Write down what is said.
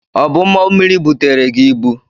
Ọ bụ ụgbọmmiri butere gi ibu?